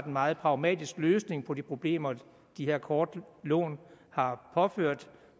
meget pragmatisk løsning på de problemer de her korte lån har påført